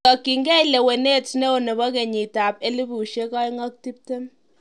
Kotokyigei lewenet ne o nebo kenyitab 2020?